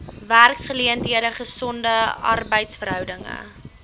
werksgeleenthede gesonde arbeidsverhoudinge